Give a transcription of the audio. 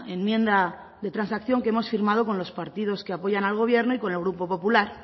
enmienda de transacción que hemos firmado con los partidos que apoyan al gobierno y con el grupo popular